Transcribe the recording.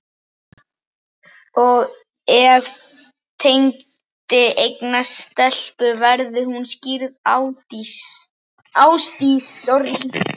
Og ef Tengdi eignast stelpu, verður hún skírð Ásdís